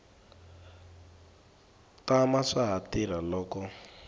tama swa ha tirha loko